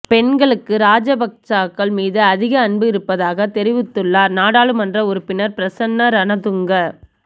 பெண்களுக்கு ராஜபக்சாக்கள் மீது அதிக அன்பு இருப்பதாக தெரிவித்துள்ளார் நாடாளுமன்ற உறுப்பினர் பிரசன்ன ரணதுங்க